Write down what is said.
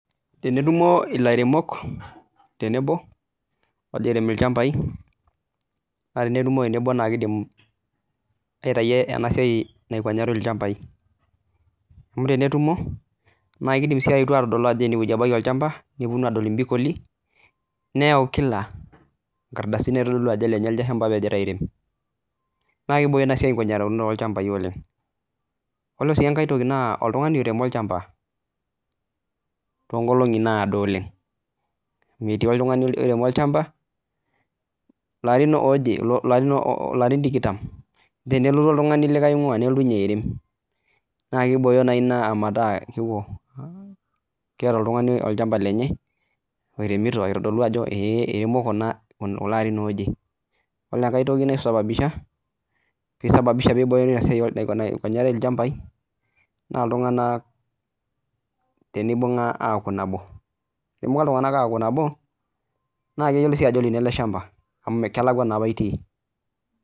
Tenetumo ilairemok tenebo airem ilchambai naa tenetumo tenebo naa kiidim aitayu ena siai naikonyarri ilchambai amu tenetumo, naa kiidim si aetu aatodol ajo ene wueji ebaki olchamba, nepuonu aadol imbikoli, neyau kila nkardasini naitodolu ajo elenye elde shamba logira aairem. Naa kiboyoo ina siai enkikonyaroto oo lchambai oleng'.Koree sii ai toki naa oltung'ani oiremo olchamba too nkolongi naado oleng'.Etii oltung'ani oiremo olchamba larin ooje, larin tikitam, tenelotu oltung'ani oinguaa nelotu ninye airem, naa kibooyo naji Ina metaa keeta oltung'ani olchamba lenye oiremito aitodolu ajo eeh, eiremo kulo aarin ooje. Kore ai toki naisababisha, peeisababisha ena siai enkikonyarata oo lchambai naa iltung'ana tenibunga aaku nabo. Tenibung'a iltung'ana aaku nabo, naa keyioloi ajo olino elde shamba, amu musana naapa itii.